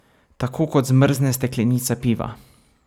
Tako kot zmrzne steklenica piva.